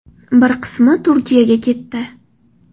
Bir qismi Turkiyaga ketdi.